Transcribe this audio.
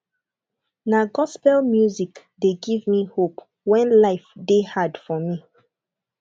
na gospel music dey give me hope when life dey hard for me